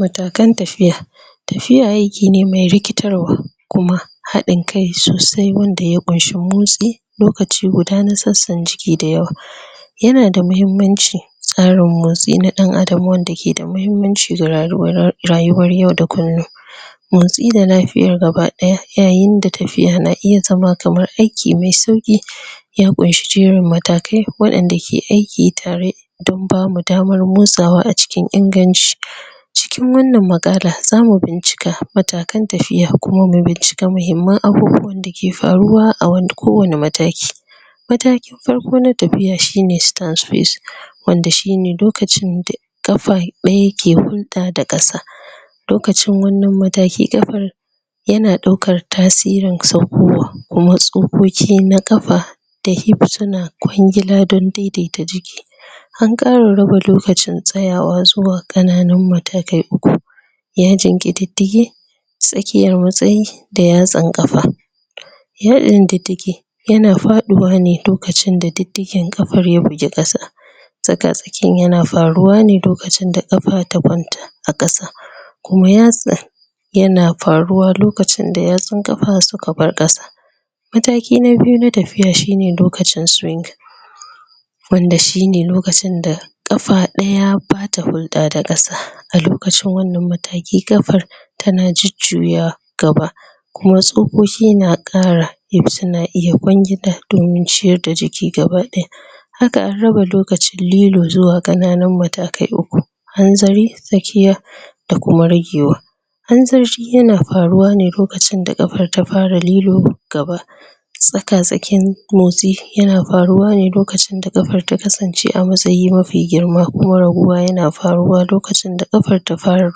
Matakan tafiya tafiya aiki ne mai rikitarwa kuma, hadin kai sosai wanda ya kunshi mutsi lokaci guda na tsatsan jiki dayawa ya na da mahimmanci tsarin motsi na dan Adam wanda ke da mahimmanci ga rayuwa ra rayuwar yau da kullum motsi da lafiyar gabadaya yayin da tafiyan na iya zama kamar aiki mai sauki ya kunshi jeran matakai wadanda ke aiki tare dan ba mu damar motsawa a cikin inganci cikin wannan mukalla, za mu bincika matakan tafiya kuma mu bincika mahimmam abubuwa da ke faruwa a wani kowani mataki matakin farko na tafiya shi ne wanda shi ne lokacin da kafa daya ke hunta da kasa lokacin wannan matakin kafar ya na daukar tasirin saukowa kuma tsokoki na kafa da hiptuna kwangila don daidaita jiki An kara raba lokacin tsayawa zuwa kananun matakai uku ya jingi didigi tsakiyar matsayi da ya san kafa ya in didigi ya na fadiwa ne lokaci da didigi kafar ya buge kasa tsaka tsakiyan ya na faruwa ne lokacin da kafa ta kwanta. a kasa kuma yatsa ya na faruwa lokacin da ya san kafa su ka bar kasa mataki na biyu na tafiya shi ne lokacin swing wanda shi ne lokacin da kafa daya ba ta hulda da kasa a lokacin wannan mataki, kafar tana jujuya gaba kuma tsuƙoƙi na kara su na iya kwangila domin ciyar da jiki gabadaya haka an raba lokaci lilo zuwa kanananun matakai uku hanzari, tsakiya da kuma ragewa. Hanzari ya na faruwa ne lokaci da kafar ta fara lilo gaba tsaka-tsakin motsi ya na faruwa ne lokacin da kafar ta kasance a matsayi mafi girma kuwa raguwa ya na faruwa lokacin da kafar ta fara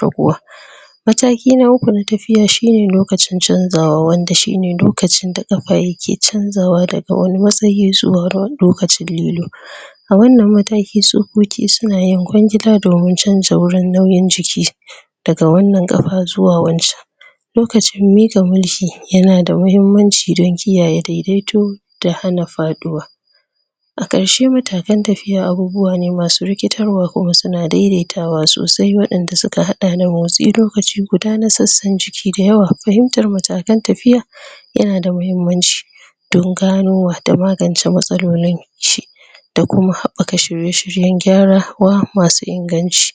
raguwa mataki na uku na tafiya shi ne lokacin canzawa wanda shi ne lokacin da kafa ya ke canzawa da ga wani matsayi zuwa lokacin lilo. A wannan mataki tsukoki su na yin kwangila da ruwan canja wurin nauyin jiki daga wannan kafa zuwa wancan. Lokacin mika mulki ya na da mahimmanci don kiyaye daidaito da hana fadiwa A karshe matakan tafiya abubuwa ne ma su rikitar wa kuma su na daidaitawa sosai wanda su ka hada lokaci guda na tsantsan jiki dayawa. Fahimtar matakan tafiya ya na da mahimmanci don gano wato magance matsalolin shi da kuma haɓaka shirye-shiryen gyara wa masu inganci.